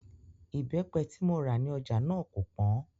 Ìbẹ́pẹ tí mo rà ní ọjà náà kò pọ́n